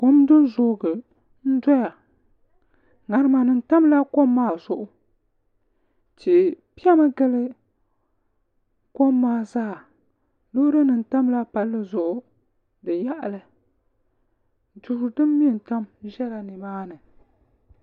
ŋarima nim tamla kom maa zuɣu tihi piɛmi gili kom maa zaa loori nim tamla palli zuɣu ni yaɣali duu din mɛ n tam ʒɛla nimaani